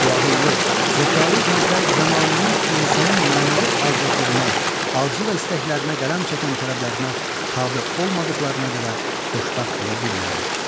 Bu ağıllı, zəkalı gənclər zəmanənin insanı mənəvi azadlığına, arzu və istəklərinə qələm çəkən tələblərinə tabe olmadıqlarına görə xoşbəxt ola bilmirlər.